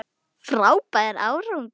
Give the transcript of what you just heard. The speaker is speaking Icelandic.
Frábær árangur